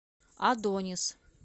адонис